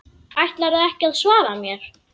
Ætlarðu ekki að svara mér?